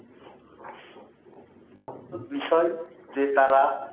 বিষয় যে তারা ;